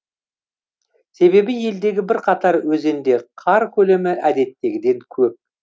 себебі елдегі бірқатар өзенде қар көлемі әдеттегіден көп